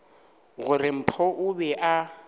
gore mpho o be a